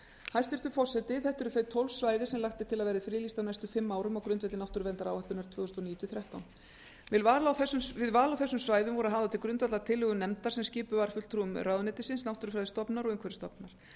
hæstvirtur forseti þetta eru þau tólf svæði sem lagt er til að verði friðlýst á næstu fimm árum á grundvelli náttúruverndaráætlunar tvö þúsund og níu til tvö þúsund og þrettán við val á þessum svæðum voru hafðar til grundvallar tillögur nefndar sem skipuð var fulltrúum umhverfisráðuneytisins náttúrufræðistofnunar íslands og umhverfisstofnunar